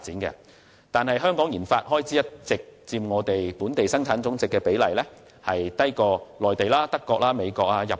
然而，香港的研發開支佔本地生產總值的比例向來低於內地、德國、美國和日本。